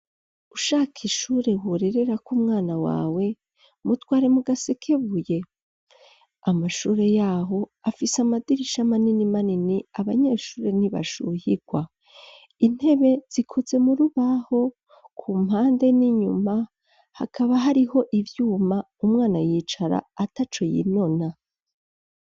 Ushaka ishure, worererako umwana wawe, mutware mu Gasekebuye, amashure y'aho, afise amadirisha manini manini, abanyeshure ntibashuhirwa, intebe, zikoze mu rubaho, ku mpande n'inyuma, hakaba hariho ivyuma, umwana yicara ataco yinona.